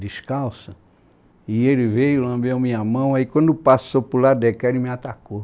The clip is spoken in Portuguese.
descalça, e ele veio, lambeu minha mão, aí quando passou para o lado de cá, ele me atacou.